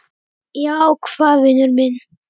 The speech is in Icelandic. Já, hvað vinur minn?